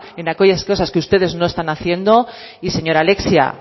en aquellas cosas que ustedes no están haciendo y señora alexia